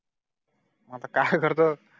आता काय करतो